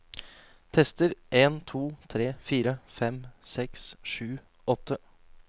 Tester en to tre fire fem seks sju åtte